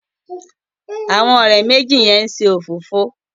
Àwọn òré méjì yén ṣe òfófó.